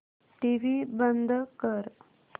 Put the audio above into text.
TV बंद कर